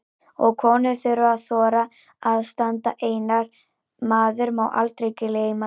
Og konur þurfa að þora að standa einar, maður má aldrei gleyma því!